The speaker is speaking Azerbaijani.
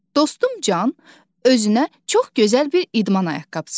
Dostum Can özünə çox gözəl bir idman ayaqqabısı alıb.